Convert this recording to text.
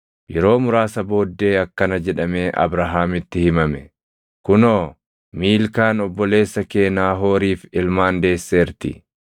Yeroo muraasa booddee akkana jedhamee Abrahaamitti himame; “Kunoo, Miilkaan obboleessa kee Naahooriif ilmaan deesseerti;